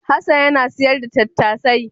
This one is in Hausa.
Hassan yana sayar da tattasai.